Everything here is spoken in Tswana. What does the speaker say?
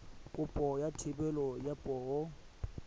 kopo ya thebolo ya poo